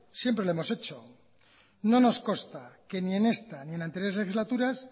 siempre lo hemos hecho no nos consta que ni en esta ni en anteriores legislaturas